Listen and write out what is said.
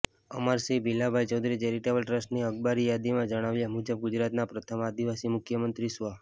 Amarsinh Bhilabhai Chaudhari charitable ટ્રસ્ટની અખબારી યાદીમાં જણાવ્યા મુજબ ગુજરાતના પ્રથમ આદિવાસી મુખ્યમંત્રી સ્વ